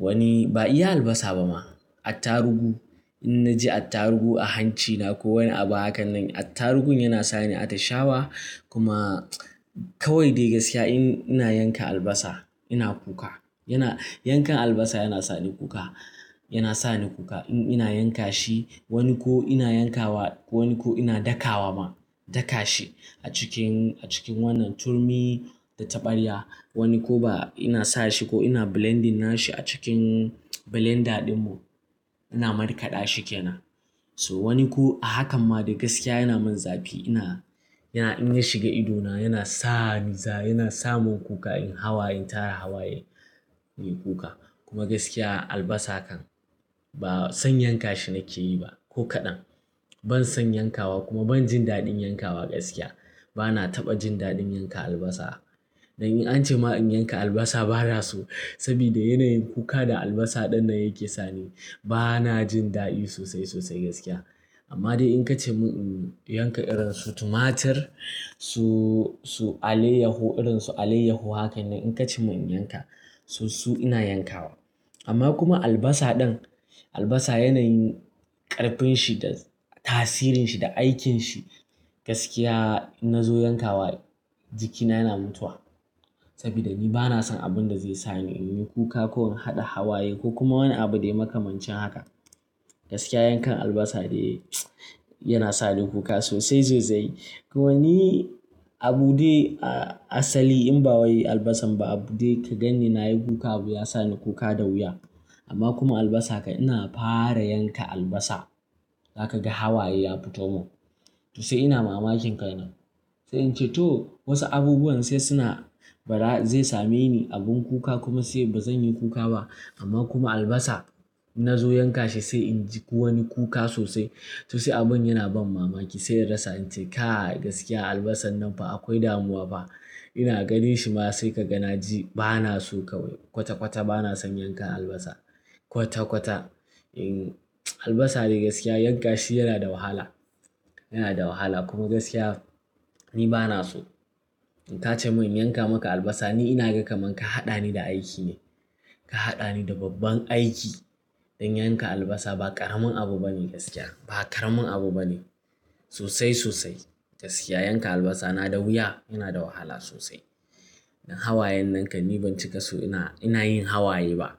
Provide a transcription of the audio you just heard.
Wani ba iya albasa ba ma. Attaruhu, in na ji attaruhu a hancina ko wani abu hakan nan, attaruhun yana sa ni a tashawa. Kuma kawai dai gaskiya in ina yanka albasa ina kuka. Yana, yankan albasa yana sa ni kuka. Yana sa ni kuka. In ina yanka shi wani ko ina yankawa wani ko ina daka wa ma. Daka shi a cikin, a cikin wannan turmi da taɓarya. Wani ko ba ina sa shi ko ina blending na shi a cikin blender ɗin mu. Ina markaɗa shi ke nan. So wani ko a hakan ma dai gaskiya yana min zafi. Ina, yana in ya shiga idona yana sa ni za, yana samun kuka in hawa in tara hawaye. Inyi kuka. Kuma gaskiya albasa kan ba san yanka shi nake yi ba. Ko kaɗan. Ban san yankawa kuma ban jin daɗin yankawa gaskiya. Ba na taɓa jin daɗin yanka albasa. Dan in an ce ma in yanka albasa ba na so. Saboda yanayin kuka da albasa ɗan nan yake sani. Ba na jin daɗi sosai, sosai gaskiya. Amma dai in ka ce mun in yanka irin su tumatir su, su alayyaho irin su alayyaho hakan nan in ka ce mun in yanka su, su ina yankawa. Amma kuma albasa ɗan albasa yanayin ƙarfin shi da tasirin shi da aikin shi gaskiya in na zo yankawa jikina yana mutuwa. Saboda ni ba na san abin da zai sa ni in yi kuka ko in haɗa hawaye ko kuma wani abu da ya makamancin haka. Gaskiya yankan albasa dai yana sa ni kuka sosai, sosai. Ko wani abu dai a asali in ba wai albasan ba abu dai ka ganni na yi kuka abu ya sa ni kuka da wuya. Amma kuma albasa ka ina fara yanka albasa za ka ga hawaye ya fito mun. To sai ina mamakin ka nan. Sai in ce to wasu abubuwan sai suna ba zai sa me ni abun kuka kuma sai ba zan yi kuka ba. Amma kuma albasa in na zo yanka shi sai in ji wani kuka sosai. To sai abun yana ban mamaki. Sai in rasa in ce kai gaskiya albasan nan fa akwai damuwa fa. Ina ganin shi ma sai ka ga na ji ba na so kawai kwata, kwata ba na son yankan albasa. Kwata, kwata. In albasa dai gaskiya yanka shi yana da wahala. Yana da wahala kuma gaskiya ni ba na so. In ka ce mun in yanka maka albasa ni ina ganin kamar ka haɗa ni da aiki ne. Ka haɗa ni da babban aiki. Dan yanka albasa ba ƙaramin abu bane gaskiya. Ba ƙaramin abu bane. Sosai, sosai. Gaskiya yanka albasa na da wuya. Yana da wahala sosai. Dan hawayen nan kam ni ban cika so ina, ina yin hawaye ba.